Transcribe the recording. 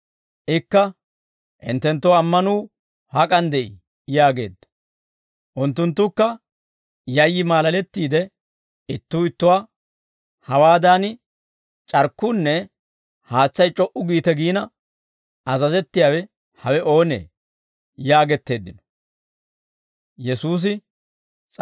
Ikka, «Hinttenttoo ammanuu hak'an de'ii?» yaageedda. Unttunttukka yayyi maalalettiide ittuu ittuwaa, «Hawaadan c'arkkuunne haatsay c'o"u giite giina azazettiyaawe hawe oonee?» yaagetteeddino.